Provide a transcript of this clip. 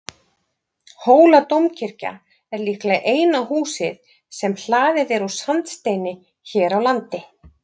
hóladómkirkja er líklega eina húsið sem hlaðið úr sandsteini hér á landi